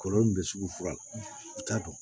Kɔlɔlɔ min bɛ sugu la i t'a dɔn